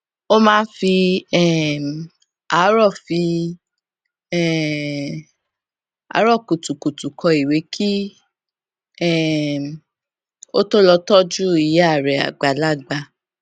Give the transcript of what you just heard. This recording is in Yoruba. ó máa ń fi um àárọ fi um àárọ kùtùkùtù kọ ìwé kí um ó tó lọ tójú ìyá rè àgbàlagbà